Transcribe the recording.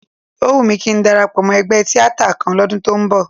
Ó wù mí kí ń darapọ̀ mọ́ ẹgbẹ́ tíátà kan lọ́dún tó ń bọ̀